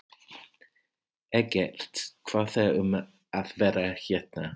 Eggert, hvað er um að vera hérna?